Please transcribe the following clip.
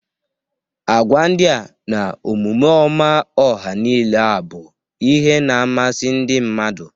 Agwa ndia na Omume ọma ọha nile a bụ ihe na-amasị ndị mmadụ.